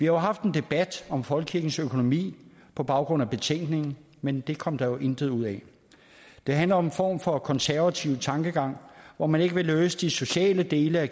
jo haft en debat om folkekirkens økonomi på baggrund af betænkningen men det kom der intet ud af det handler om en form for konservativ tankegang hvor man ikke vil løse de sociale dele af